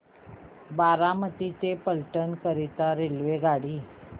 बारामती ते फलटण करीता रेल्वेगाडी